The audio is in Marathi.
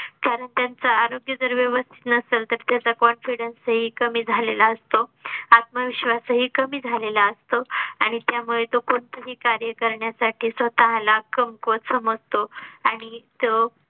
कारण त्यांचा आरोग्य जर व्यवस्थित नसल तर त्याचा confidence ही कमी झालेला असतो. आत्मविश्वास ही कमी झालेला असतो. आणि त्यामुळे तो कोणतंही कार्य करण्यासाठी स्वतः ला कमकुवत समजतो आणि तो